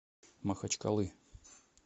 махачкалы